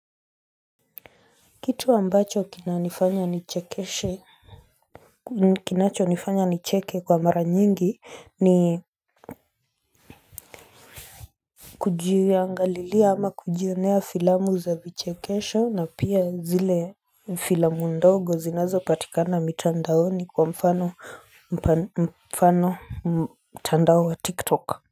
Kitu ambacho kinanifanya nichekeshe ni kinacho nifanya nicheke kwa mara nyingi ni Kujiangalilia ama kujionea filamu za vichekesho na pia zile filamu ndogo zinazo patikana mitandaoni kwa mfano mtandao wa tiktok.